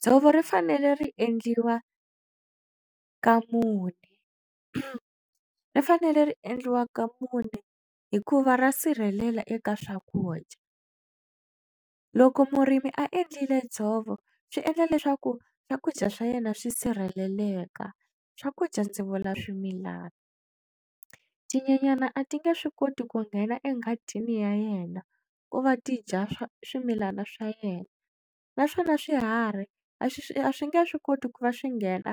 Dzovo ri fanele ri endliwa ka mune ri fanele ri endliwa ka mune hikuva ra sirhelela eka swakudya loko murimi a endlile dzovo swi endla leswaku swakudya swa yena swi sirheleleka swakudya ndzi vula swimilana tinyenyani a ti nge swi koti ku nghena enghadini ya yena ku va ti dya swa swimilana swa yena naswona swiharhi a swi a swi nge swi koti ku va swi nghena